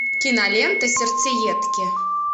кинолента сердцеедки